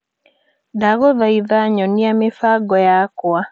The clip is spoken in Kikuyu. Ndagũthaitha nyonia mĩbango yakwa.